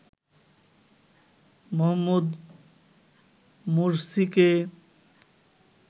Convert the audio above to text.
Mohammad মোরসিকে